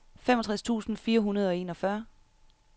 femogtres tusind fire hundrede og enogfyrre